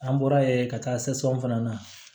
An bɔra yen ka taa fana na